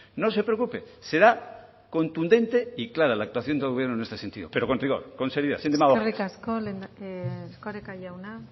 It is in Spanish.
no se preocupe será contundente y clara la actuación del gobierno en este sentido pero con rigor con seriedad sin demagogias eskerrik asko erkoreka jauna